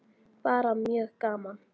Bara mjög gaman.